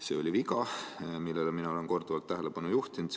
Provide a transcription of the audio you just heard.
See oli viga, millele mina olen korduvalt tähelepanu juhtinud.